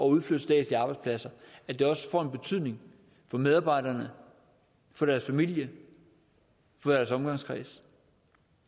udflytte statslige arbejdspladser at det også får en betydning for medarbejderne for deres familier og for deres omgangskreds